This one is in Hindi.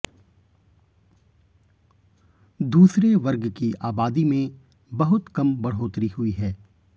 दूसरे वर्ग की आबादी में बहुत कम बढ़ोतरी हुई है